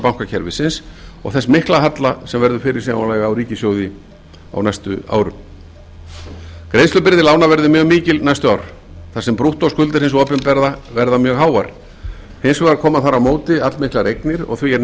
bankakerfisins og þess mikla halla sem verður fyrirsjáanlegur á ríkissjóði á næstu árum greiðslubyrði lána verður mjög mikil næstu ár þar sem brúttóskuldir hins opinbera verða mjög háar hins vegar koma þar á móti allmiklar eignir og